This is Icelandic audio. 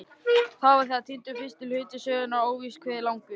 Þá var þegar týndur fyrsti hluti sögunnar, óvíst hve langur.